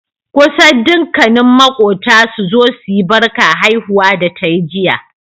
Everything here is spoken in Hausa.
kusan dukkani makota suzo suyi Barka haihuwa da tayi jiya